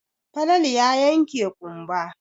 Falalu ya yanke ƙumba.